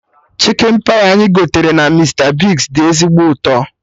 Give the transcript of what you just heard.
Chikin pai anyị gotere na Mista Bigz dị ezigbo ụtọ